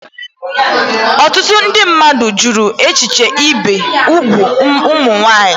Ọtụtụ ndị mmadụ jụrụ echiche ibi úgwù ụmụ nwanyị